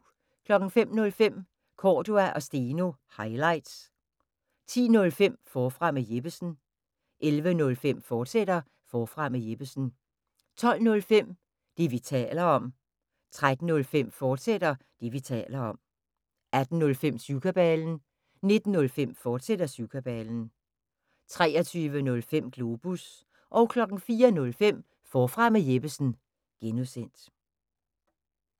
05:05: Cordua & Steno – highlights 10:05: Forfra med Jeppesen 11:05: Forfra med Jeppesen, fortsat 12:05: Det, vi taler om 13:05: Det, vi taler om, fortsat 18:05: Syvkabalen 19:05: Syvkabalen, fortsat 23:05: Globus 04:05: Forfra med Jeppesen (G)